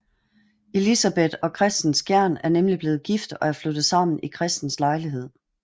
Elisabeth og Kristen Skjern er nemlig blevet gift og er flyttet sammen i Kristens lejlighed